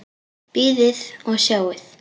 Bíðið og sjáið!